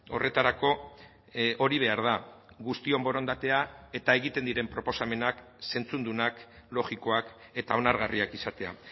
horretarako hori behar da guztion borondatea eta egiten diren proposamenak zentzudunak logikoak eta onargarriak izatea